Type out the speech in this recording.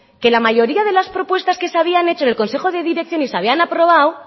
que la mayoría de la propuestas que se habían hecho en el consejo de dirección y se había aprobado